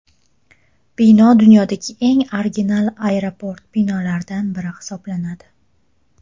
Bino dunyodagi eng original aeroport binolaridan biri hisoblanadi.